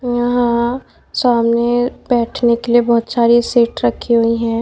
यहां सामने बैठने के लिए बहुत सारी सीट रखी हुई हैं।